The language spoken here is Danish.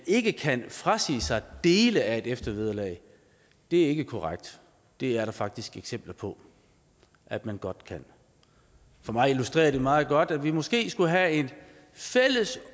ikke kan frasige sig dele af et eftervederlag det er ikke korrekt det er der faktisk eksempler på at man godt kan for mig illustrerer det meget godt at vi måske skulle have et fælles